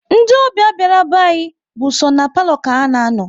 Ndị ọbịa bịara be anyị bụ so ná palo ka ha na-anọ